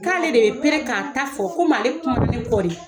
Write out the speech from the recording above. K'ale de ye k'a ta fɔ ko male kumana ne kɔ de